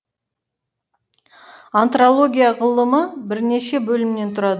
антропология ғылымы бірнеше бөлімнен тұрады